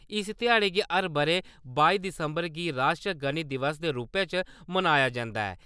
इस ध्याड़े गी हर ब`रे बाई दिसंबर गी राश्ट्री गणित दिवस दे रूपै च मनाया जन्दा ऐ।